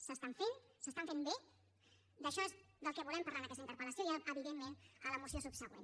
s’estan fent s’estan fent bé d’això és del que volem parlar en aquesta interpel·lació i evidentment a la moció subsegüent